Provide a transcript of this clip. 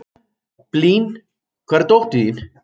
Blín, hvar er dótið mitt?